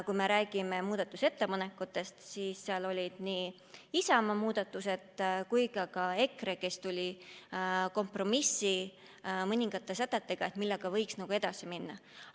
Kui me räägime muudatusettepanekutest, siis seal olid nii Isamaa kui ka EKRE omad, kes soovisid kompromissi mõningate sätete osas, millega võiks edasi minna.